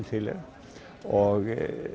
til er og